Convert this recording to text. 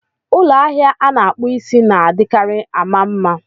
Ụlọ ahịa ana-akpụ isí na-adịkarị ama mma